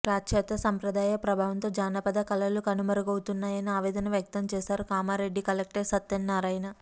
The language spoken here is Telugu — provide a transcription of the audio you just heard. పాశ్చాత్య సంప్రదాయ ప్రభావంతో జానపద కళలు కనుమరుగవుతున్నాయని ఆవేదన వ్యక్తం చేశారు కామారెడ్డి కలెక్టర్ సత్యనారాయణ